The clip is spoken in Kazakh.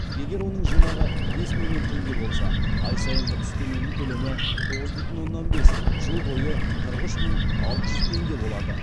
егер оның жинағы бес миллион теңге болса ай сайынғы үстеменің көлемі тоғыз бүтін оннан бес жыл бойы қырық үш мың алты жүз теңге болады